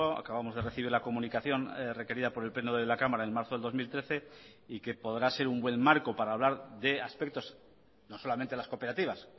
acabamos de recibir la comunicación requerida por el pleno de la cámara en marzo del dos mil trece y que podrá ser un buen marco para hablar de aspectos no solamente las cooperativas